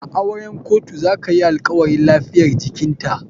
A auren kotu zakayi alkawarin lafiyar jikinta.